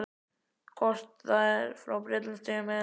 Hvort það var frá Bretlandseyjum eða Noregi.